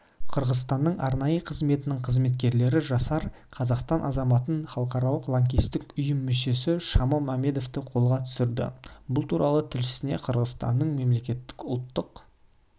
қырғызстанның арнайы қызметінің қызметкерлері жасар қазақстан азаматын халықаралық лаңкестік ұйым мүшесі шамо мәмедовті қолға түсірді бұл туралы тілшісіне қырғызстанның мемлекеттік ұлттық